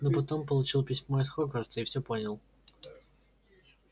но потом получил письмо из хогвартса и всё понял